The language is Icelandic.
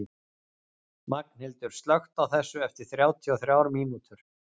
Magnhildur, slökktu á þessu eftir þrjátíu og þrjár mínútur.